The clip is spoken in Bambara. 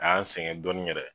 A y'an sɛgɛn dɔɔnin yɛrɛ